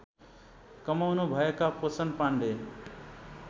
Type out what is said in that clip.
कमाउनुभएका Poshan Pandey